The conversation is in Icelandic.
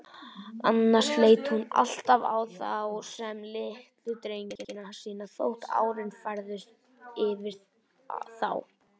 Annars leit hún alltaf á þá sem litlu drengina sína, þótt árin færðust yfir þá.